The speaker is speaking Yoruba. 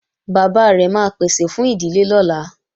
Bàbá rẹ̀ máa pèsè fún ìdílé lọ́la